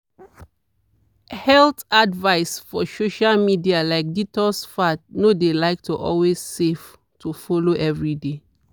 health advice for social media like detox fads no de like to always save to follow every dey.